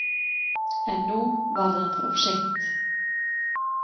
En nú var það of seint.